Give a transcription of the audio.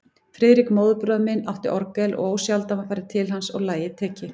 Friðrik, móðurbróðir minn, átti orgel og ósjaldan var farið til hans og lagið tekið.